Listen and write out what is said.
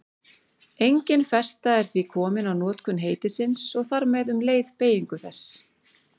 Engin festa er því komin á notkun heitisins og þar með um leið beygingu þess.